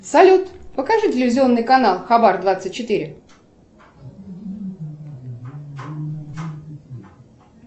салют покажи телевизионный канал хабар двадцать четыре